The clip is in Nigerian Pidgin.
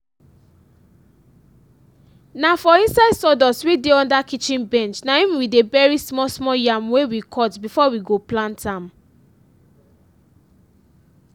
na for inside sawdust wey dey under kitchen bench nahim we dey bury small small yam wey we cut before we go pllant am